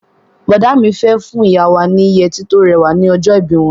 Bọ̀dá mi fẹ́ fún ìyá wa ni yẹtí tó rẹwà ní ọjọ́ ìbí wọn.